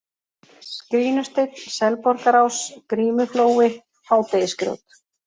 Skrínusteinn, Selborgarás, Grímuflói, Hádegisgrjót